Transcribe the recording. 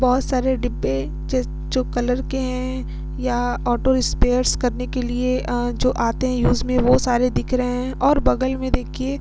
बोहोत सारे डिब्बे जिस जो कलर के है। या ऑटो स्पेर्स करने के लिए अ जो आते है यूज़ में वो सारे दिख रहे है और बगल में देखिये--